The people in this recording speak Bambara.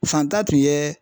Fanta tun ye